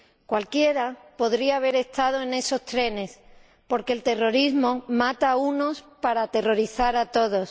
Cualquiera podría haber estado en esos trenes, porque el terrorismo mata a unos para aterrorizar a todos.